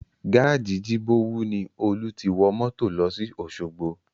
Gárájì Jibowu ni Olú ti wọ mọ́tò lọ sí Osogbo